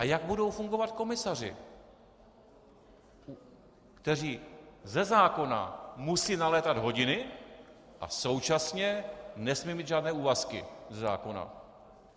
A jak budou fungovat komisaři, kteří ze zákona musí nalétat hodiny a současně nesmějí mít žádné úvazky ze zákona?